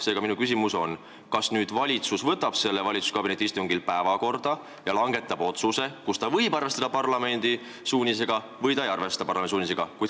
Seega, minu küsimus on, kas valitsus võtab selle valitsuskabineti istungi päevakorda ja langetab otsuse, mille puhul ta arvestab või ei arvesta parlamendi suunisega.